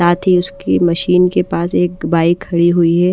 साथ ही उसकी मशीन के पास एक बाइक खड़ी हुई है।